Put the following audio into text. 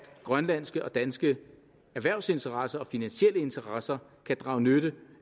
grønlandske og danske erhvervsinteresser og finansielle interesser kan drage nytte